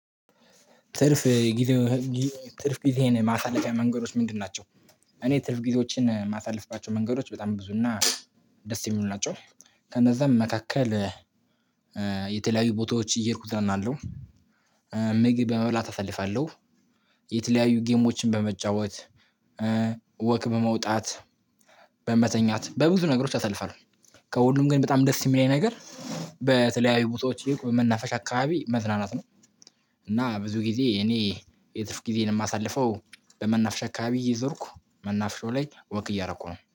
ትርፍ ጊዜ ትርፍ ጊዜህን ማሳለፊያ መንገዶች ምንድን ናቸው? እኔ ትርፍ ጊዜዎችን የማሳልፍባቸው መንገዶች በጣም ብዙ እና ደስ የሚሉ ናቸው። ከነዛም መካከል የተለያዩ ቦታዎች እየሄድኩት እዝናናለው። ምግብ በመብላት አሳልፋለሁ። የተለያዩ ጌሞችን በመጫወት ወክ በመውጣት በመተኛት በብዙ ነገሮች አሳልፋለሁ። ከሁሉም ግን በጣም ደስ የሚለኝ ነገር በተለያዩ ቦታዎች በመናፈሻ አካባቢ መዝናናት ነው። እና ብዙ ጊዜ እኔ የትርፍ ጊዜን የማሳልፈው በመናፍሻ አካባቢ እየዞርኩ መናፍሻው ላይ ወክ እያረኩ ነው